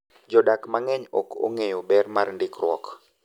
Jodak mang’eny ok ong’eyo ber mar ndikruok.